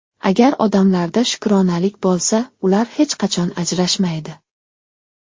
Agar odamlarda shukronalik bo‘lsa, ular hech qachon ajrashmaydi.